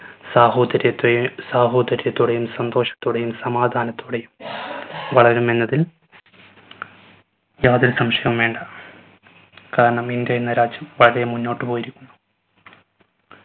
സാഹോദര്യത്തെ സാഹോദര്യത്തോടെയും സന്തോഷത്തോടെയും സമാധാനത്തോടെയും വളരുമെന്നതിൽ യാതൊരു സംശയവും വേണ്ട. കാരണം ഇന്ത്യ എന്ന രാജ്യം വളരെ മുന്നോട്ട് പോയിരിക്കുന്നു.